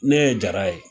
Ne ye jara ye